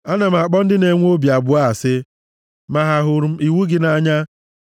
Ana m akpọ ndị na-enwe obi abụọ asị, ma ahụrụ m iwu gị nʼanya.